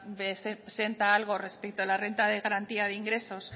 se presenta algo respecto a la renta de garantía de ingresos